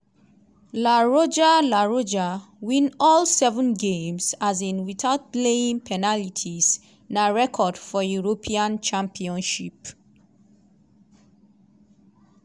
la roja la roja win all seven games um without playing penalties na record for european championship.